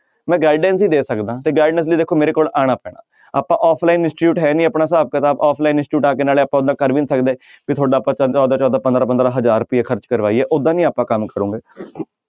ਮੈਂ guidance ਹੀ ਦੇ ਸਕਦਾ ਤੇ guidance ਲਈ ਦੇਖੋ ਮੇਰੇ ਕੋਲ ਆਉਣਾ ਪੈਣਾ ਆਪਾਂ offline institute ਹੈ ਨੀ ਆਪਣਾ ਹਿਸਾਬ ਕਿਤਾਬ offline institute ਆ ਕੇ ਨਾਲੇ ਆਪਾਂ ਓਨਾ ਕਰ ਵੀ ਨੀ ਸਕਦੇ ਵੀ ਤੁਹਾਡਾ ਚੌਦਾਂ ਚੌਦਾਂ ਪੰਦਰਾਂ ਪੰਦਰਾਂ ਹਜ਼ਾਰ ਰੁਪਇਆ ਖਰਚ ਕਰਵਾਈਏ ਓਦਾਂ ਨੀ ਆਪਾਂ ਕੰਮ ਕਰੋਗੇ